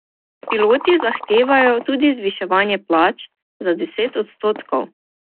Piloti zahtevajo tudi zvišanje plač za deset odstotkov.